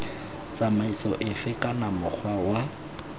tsamaiso efe kana mokgwa wa